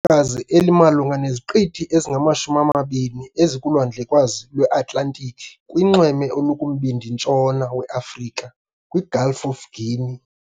kazi elimalunga neziqithi ezingama-20 ezikuLwandlekazi lweAtlantiki kunxweme olukumbindi-ntshona weAfrika, kwiGulf of Guinea .